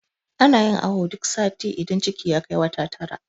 ana. yin awo duk sati idan ciki ya Kai wata takwas